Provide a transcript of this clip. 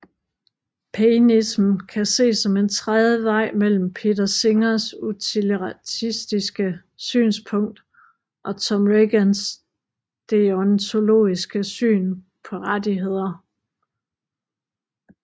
Painism kan ses som en tredje vej mellem Peter Singers utilitaristiske synspunkt og Tom Regans deontologiske syn på rettigheder